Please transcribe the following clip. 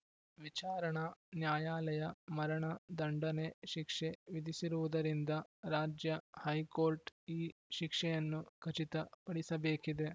ವಿಚಾರಣಾ ನ್ಯಾಯಾಲಯ ಮರಣ ದಂಡನೆ ಶಿಕ್ಷೆ ವಿಧಿಸಿರುವುದರಿಂದ ರಾಜ್ಯ ಹೈಕೋರ್ಟ್‌ ಈ ಶಿಕ್ಷೆಯನ್ನು ಖಚಿತ ಪಡಿಸಬೇಕಿದೆ